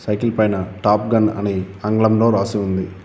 Cycle పైన top gun అని ఆంగ్లంలో రాసి ఉంది.